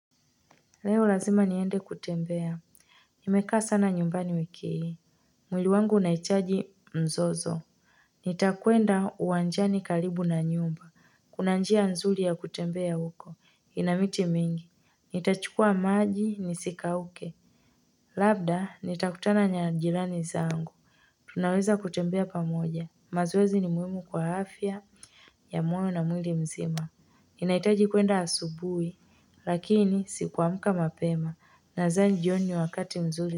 Leo lazima niende kutembea nimekaa sana nyumbani wiki hii. Mwili wangu unahitaji mzozo nitakwenda uwanjani karibu na nyumba, kuna njia nzuri ya kutembea huko ina miti mingi nitachukua maji nisikauke labda nitakutana na jirani zangu tunaweza kutembea pamoja mazoezi ni muhimu kwa afya ya moyo na mwili mzima ninahitaji kwenda asubuhi lakini siku amka mapema nadhani jioni ni wakati mzuri.